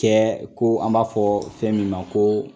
cɛ ko an b'a fɔ fɛn min ma ko